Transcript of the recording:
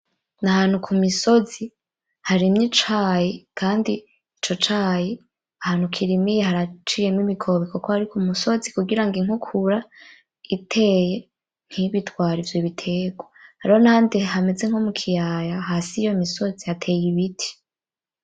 Nahantu kumisozi harimye icayi, kandi ico cayi ahantu kirimye haciyemwo imikobeko kuko ari kumisozi kugira inkukura iteye ntibitware ivyo biterwa, rero nahandi hameze nko mukiyaya hasi yiyo misozi hateye ibiti.